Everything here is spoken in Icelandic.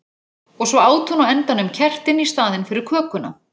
Og svo át hún á endanum kertin í staðinn fyrir kökuna.